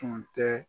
Tun tɛ